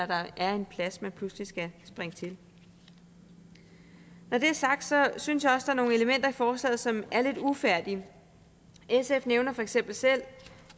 der er en plads hvor man pludselig skal springe til når det er sagt synes jeg også der er nogle elementer i forslaget som er lidt ufærdige sf nævner for eksempel selv